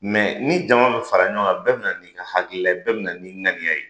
Mɛ ni jama bi fara ɲɔgɔn kan bɛ bi na ni ka hakilila ye bɛ bina nin ŋaniya ye